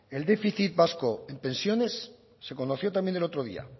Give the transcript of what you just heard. el déficit vasco en pensiones se conoció también el otro día